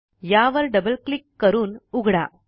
यावर double click करून उघडा